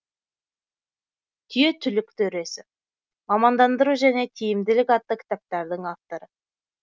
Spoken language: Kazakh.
түйе түлік төресі мамандандыру және тиімділік атты кітаптардың авторы